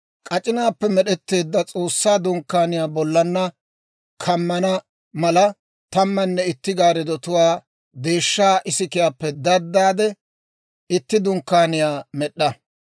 «K'ac'inaappe med'etteedda S'oossaa Dunkkaaniyaa bollanna kammana mala, tammanne itti gaarddatuwaa deeshshaa isikiyaappe daddaade, itti dunkkaaniyaa med'd'a.